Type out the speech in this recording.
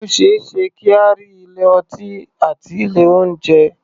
O ṣé é ṣe kí a rí ilé-ọtí àti ilé-oúnjẹ.